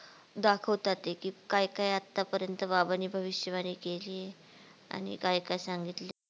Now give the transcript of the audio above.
दाखवता ते कि काय काय आता पर्यत बाबा नी भविष्यवाणी केली आणि काय काय सांगितलं.